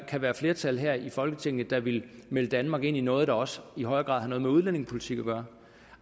kan være et flertal her i folketinget der vil melde danmark ind i noget der også i højere grad har noget med udlændingepolitik at gøre